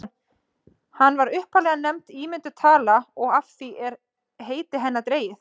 hún var upphaflega nefnd ímynduð tala og af því er heiti hennar dregið